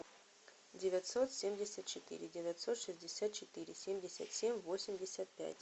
девятьсот семьдесят четыре девятьсот шестьдесят четыре семьдесят семь восемьдесят пять